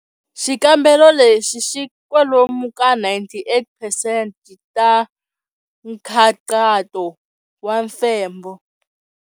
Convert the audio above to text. Xikambelo lexi xi kwalomu ka 98 percent ta nkhaqato wa mfembo.